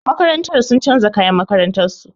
Makarantar sun canza kayan makarantar su.